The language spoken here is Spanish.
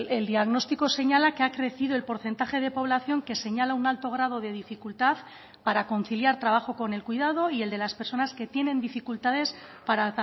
el diagnóstico señala que ha crecido el porcentaje de población que señala un alto grado de dificultad para conciliar trabajo con el cuidado y el de las personas que tienen dificultades para